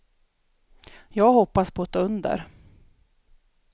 Jag hoppas på ett under.